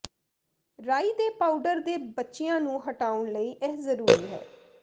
ਰਾਈ ਦੇ ਪਾਊਡਰ ਦੇ ਬਚਿਆਂ ਨੂੰ ਹਟਾਉਣ ਲਈ ਇਹ ਜ਼ਰੂਰੀ ਹੈ